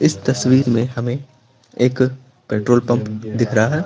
इस तस्वीर में हमें एक पेट्रोल पंप दिख रहा है।